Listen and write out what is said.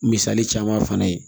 Misali caman fana ye